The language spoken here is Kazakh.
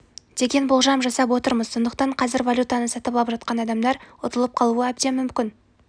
деген болжам жасап отырмыз сондықтан қазір валютаны сатып алып жатқан адамдар ұтылып қалуы әбден мүмкін